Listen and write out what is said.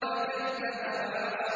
فَكَذَّبَ وَعَصَىٰ